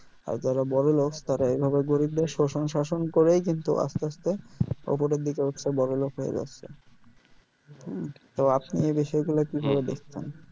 আর যারা বড়লোক তারা এভাবে গরিবদের শোষণ শাসন করেই কিন্তু আস্তে আস্তে উপরের দিকে উঠচ্ছে বড়োলোক হয়ে যাচ্ছে হম তো আপনি এই বিষয় গুলো কি ভাবে দেখছেন